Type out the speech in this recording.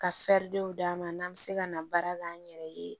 Ka d'a ma n'an bɛ se ka na baara kɛ an yɛrɛ ye